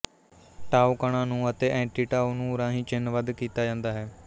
ਟਾਓ ਕਣਾਂ ਨੂੰ ਅਤੇ ਐਂਟੀਂਟਾਓ ਨੂੰ ਰਾਹੀਂ ਚਿੰਨਬੱਧ ਕੀਤਾ ਜਾਂਦਾ ਹੈ